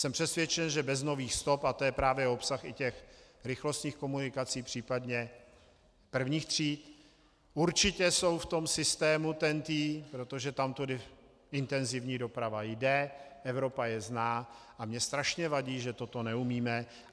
Jsem přesvědčen, že bez nových stop, a to je právě obsah i těch rychlostních komunikací, případně prvních tříd, určitě jsou v tom systému TEN-T, protože tamtudy intenzivní doprava jde, Evropa je zná, a mně strašně vadí, že toto neumíme.